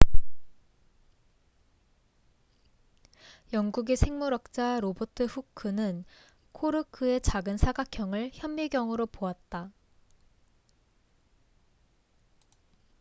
영국의 생물학자 로버트 후크robert hooke는 코르크의 작은 사각형을 현미경으로 보았다